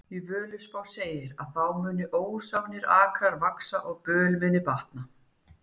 Í Völuspá segir að þá muni ósánir akrar vaxa og böl mun batna.